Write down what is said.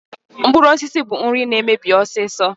Mkpụrụosisi bụ nri na-emebi ọsịsọ.